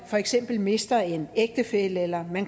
for eksempel mister en ægtefælle eller